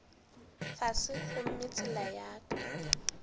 fase gomme tsela ya ka